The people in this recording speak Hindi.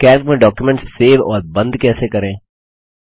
कैल्क में डॉक्युमेंट सेव और बंद कैसे करें